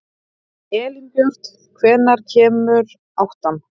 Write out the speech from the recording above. Elínbjört, hvenær kemur áttan?